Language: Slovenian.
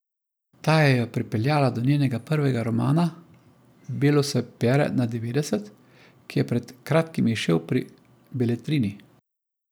Ta jo je pripeljala do njenega prvega romana Belo se pere na devetdeset, ki je pred kratkim izšel pri Beletrini.